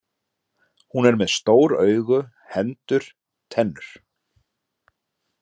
Hún er með stór augu, hendur, tennur.